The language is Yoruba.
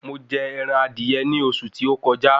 Mo jẹ ẹran adìyẹ ní oṣù tí ó kọjá